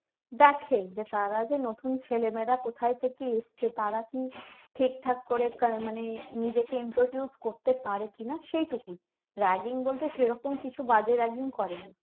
দেখে যে তারা যে নতুন ছেলেমেয়েরা কোথায় থেকে এসেছে তারা কি ঠিকঠাক করে মানে নিজেকে introduce করতে পারে কিনা সেইটুকু ragging বলতে সেরকম কিছু বাজে ragging করে না